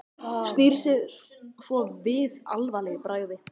Snýr sér svo við alvarleg í bragði.